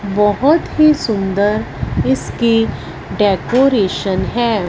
बहोत ही सुंदर इसकी डेकोरेशन है।